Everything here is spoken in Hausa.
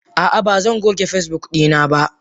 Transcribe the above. Ah ah bazan goge Facebook dina ba.